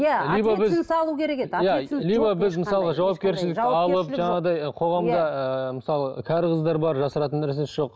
жаңағындай қоғамда ыыы мысалы кәрі қыздар бар жасыратын нәрсесі жоқ